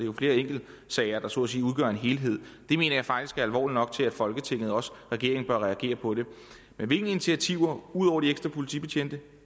er flere enkeltsager der så at sige udgør en helhed det mener jeg faktisk er alvorligt nok til at folketinget og også regeringen bør reagere på det men hvilke initiativer er ud over de ekstra politibetjente og